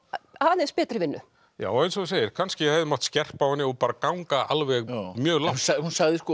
aðeins betri vinnu já eins og þú segir kannski hefði mátt skerpa á henni og ganga alveg mjög langt hún hefur